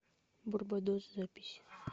барбадос запись